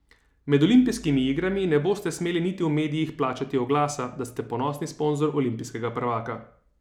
Med olimpijskimi igrami ne boste smeli niti v medijih plačati oglasa, da ste ponosni sponzor olimpijskega prvaka.